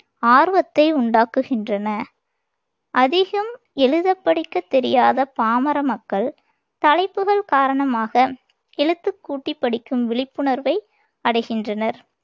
ஆர்வத்தை உண்டாக்குகின்றன அதிகம் எழுதப் படிக்கத் தெரியாத பாமர மக்கள் தலைப்புகள் காரணமாக எழுத்துக்கூட்டிப் படிக்கும் விழிப்புணர்வை அடைகின்றனர்